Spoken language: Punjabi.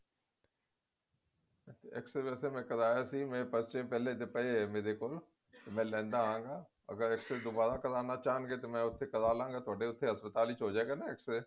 x-ray ਵੇਸੇ ਮੈਂ ਕਰਾਇਆ ਸੀ ਪਹਿਲੇ ਦੇ ਪਏ ਨੇ ਮੇਰੇ ਮੈਂ ਲੇਂਦਾ ਆਵਾਂਗਾ ਅਗਰ x ray ਦੁਬਾਰਾ ਕਰਾਉਣ ਚਾਹੁਣਗੇ ਤੇ ਮੈਂ ਉੱਥੇ ਕਰਾ ਲਵਾਂਗਾ ਉੱਥੇ ਹਸਪਤਾਲ ਵਿੱਚ ਹੋਜੇਗਾ ਨਾ x ray